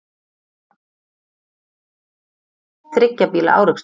Þriggja bíla árekstur